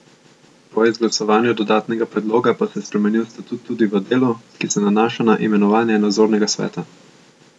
Po izglasovanju dodatnega predloga pa se je spremenil statut tudi v delu, ki se nanaša na imenovanje nadzornega sveta.